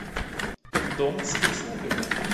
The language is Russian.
дом с прислугой